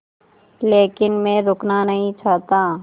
लेकिन मैं रुकना नहीं चाहता